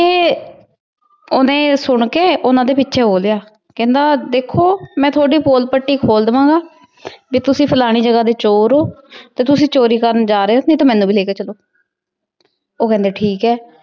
ਓਹਨੇ ਊ ਸੁੰਨ ਕੇ ਓਹਨਾਂ ਦੇ ਪਿਛੇ ਹੋ ਲਾਯਾ ਕਹੰਦਾ ਦੇਖੋ ਮੈਂ ਥੁਵਾਦੀ ਪੋਲ ਪਤੀ ਖੋਲ ਦਾਵਾਂ ਗਾ ਭੀ ਤੁਸੀਂ ਫਲਾਣੀ ਜਗਾ ਦੇ ਚੋਰ ਊ ਤੇ ਤੁਸੀਂ ਚੋਰੀ ਕਰਨ ਜਾ ਰਹੀ ਊ ਨਾਈ ਤੇ ਮੇਨੂ ਵੀ ਲੇ ਕੇ ਚਲੋ ਊ ਕੇਹੰਡੀ ਠੀਕ ਆਯ